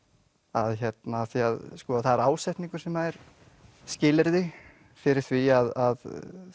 af því að það er ásetningur sem er skilyrði fyrir því að